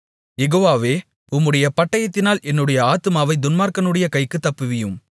யெகோவாவே உம்முடைய பட்டயத்தினால் என்னுடைய ஆத்துமாவைத் துன்மார்க்கனுடைய கைக்கு தப்புவியும்